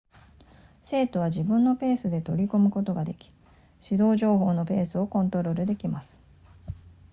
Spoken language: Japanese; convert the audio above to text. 生徒は自分のペースで取り組むことができ指導情報のペースをコントロールできます